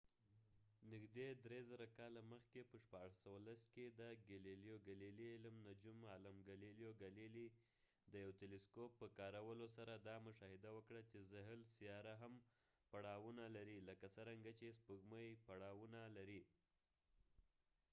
نږدې درې زره کاله مخکې په 1610 کې د علم نجوم عالم ګالیلو ګالیلیgalileo galilei; د یو تیلیسکوپ په کارولو سره دا مشاهده وکړه چې زحل سیاره هم پړاونه لري لکه څرنګه چې سپوږمی پړاونه لري